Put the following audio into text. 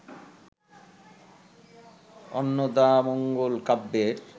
অন্নদামঙ্গল কাব্যের